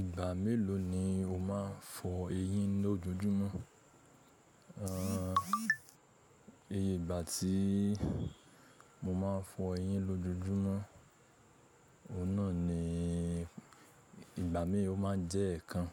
Ìgbà mélòó ni o máa ń fọ eyín lójoojúmọ́? Ẹ̀, ìgbà tí mo máa ń fọ eyín lójoojúmọ́, òun náà ni ìgbà mì ó máa ń jẹ́ ẹ̀ẹ̀kan,